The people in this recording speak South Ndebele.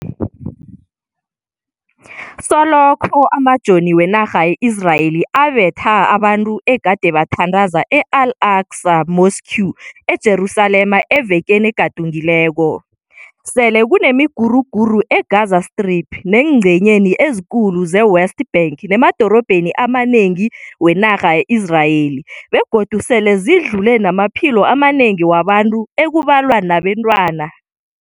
Solokho amajoni wenarha ye-Israeli abetha abantu egade bathandaza e-Al Aqsa Mosque eJerusalema evekeni egadungileko, sele kunemiguruguru e-Gaza Strip neengcenyeni ezikulu ze-West Bank nemadorobheni amanengi wenarha ye-Israel be godu sele zidlule namaphilo amanengi wabantu ekubalwa nabentwana.